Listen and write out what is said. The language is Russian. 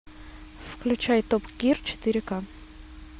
включай топ гир четыре ка